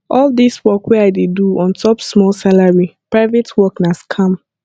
all dis work wey i dey do ontop small salary private work na scam